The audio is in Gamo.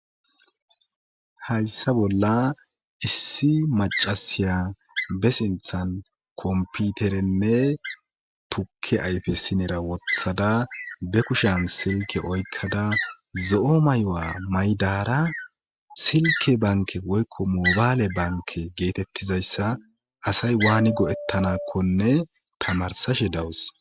Hayssa bolla issi macasiya be sinthan komputerenne tukke ayfe sinera wothada be kushan silke oykkada zo'o mayo'a maydara silke banke woykko mobaale banke geetettizayssa asay waani go7ettanakkonne tamarsashe dawus.